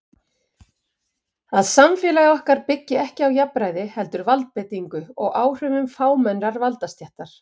Að samfélagsgerð okkar byggi ekki á jafnræði heldur valdbeitingu og áhrifum fámennrar valdastéttar.